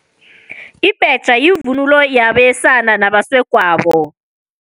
Ibhetjha yivunulo yabesana nabasegwabo.